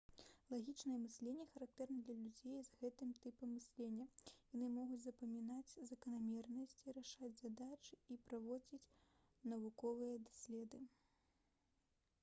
лагічнае мысленне характэрна для людзей з гэтым тыпам мыслення яны могуць запамінаць заканамернасці рашаць задачы і праводзіць навуковыя доследы